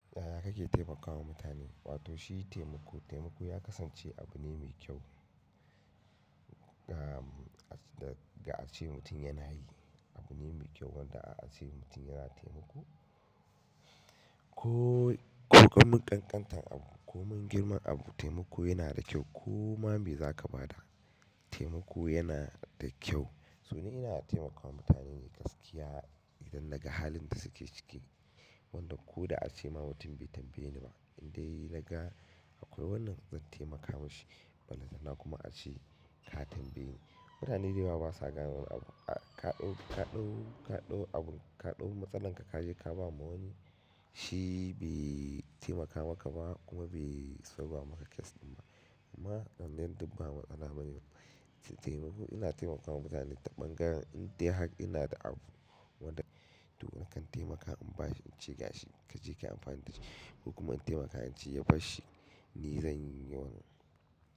Yaya kake taimakawa mutane wato shi taimako. Taimako ya kasance abu ne mai kyau. Da ace mutum yana hayi, abu ne mai kyau wanda a a ce mutum yana taimako, ko mun ƙanƙanta abu ko mun girma abu taimako yana da kyau. Koma me za ka ba da taimako yana da kyau. So ni ina taimakawa mutane yi gaskiya idan naga halin da suke ciki. Wanda ko da ace ma mutum bai tambaye ni ba, in dai naga akwai wannan zan taimakawa shi. Wannan na kuma a ce ka tambaye ni. Mutane dayawa basa gane wani abu ka ɗau abun ka ɗau matsalan ka ka je ka ba wa wani shi be taimakawa maka ba kuma be solba maka kyas ba. Amma wannan duk ba matsala bane. Taimako ina taimakawa mutane ta bangaren in dai hak ina da abu wanda dukan kan taimakawa in ba shi in ci ga shi ka je ka yi amfani da shi. Ko kuma in taimaka inve ya basshhi ni zan yi wannan.